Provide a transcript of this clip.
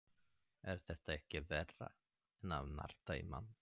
Er þetta ekki verra en að narta í mann?